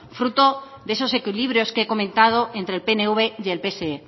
fruto de esos equilibrios que he comentado entre el pnv y el pse